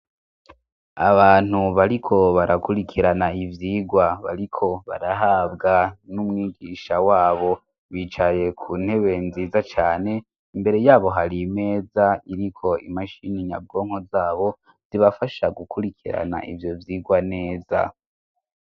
Abantu bariko barakurikirana ivyirwa bariko barahabwa n'umwigisha wabo, bicaye ku ntebe nziza cane, imbere yabo hari imeza iriko imashini nyabwonko zabo zibafasha gukurikirana ivyo vyirwa neza.